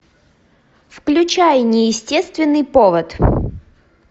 включай неестественный повод